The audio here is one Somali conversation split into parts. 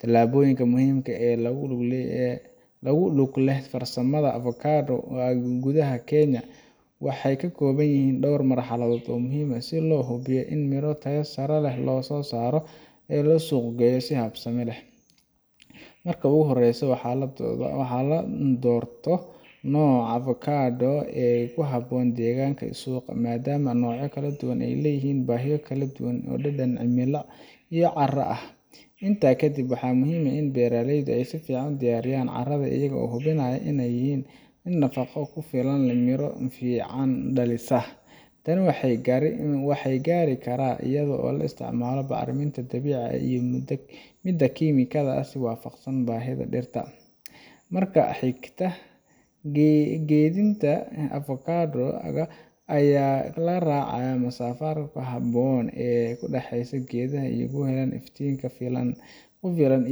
Tillaabooyinka muhiimka ah ee ku lug leh farsamada avocado ga gudaha Kenya waxay ka kooban yihiin dhowr marxaladood oo muhiim ah si loo hubiyo in miro tayo sare leh la soo saaro lana suuq geeyo si habsami leh. Marka ugu horreysa, waa in la doorto nooca avocado ga ee ku habboon deegaanka iyo suuqa, maadaama noocyada kala duwan ay leeyihiin baahiyo kala duwan oo dhanka cimilada iyo carrada ah. Intaa kadib, waxaa muhiim ah in beeraleydu ay si fiican u diyaariyaan carrada, iyagoo hubinaya inay leedahay nafaqo ku filan oo miro fiican dhalisa. Tani waxaa lagu gaari karaa iyadoo la isticmaalo bacriminta dabiiciga ah iyo midda kiimikada ah si waafaqsan baahida dhirta. Marka xiga waa geedinta avocado ga iyadoo la raacayo masaafada ku habboon ee u dhaxaysa geedaha si ay u helaan iftiin ku filan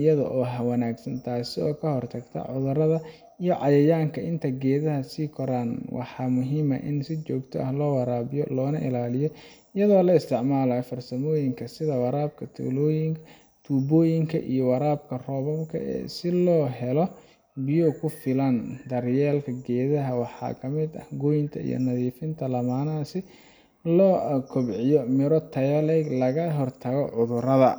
iyo hawo wanaagsan, taasoo ka hortagta cudurrada iyo cayayaanka. Inta geedaha ay sii koraan, waxaa muhiim ah in si joogto ah loo waraabiyo loona ilaaliyo, iyadoo la isticmaalayo farsamooyin sida waraabka tubooyinka iyo waraabka roobabka si loo helo biyo ku filan. Daryeelka geedaha waxaa ka mid ah goynta iyo nadiifinta laamaha si loo kobciyo miro tayo leh iyo in laga hortago cudurrada.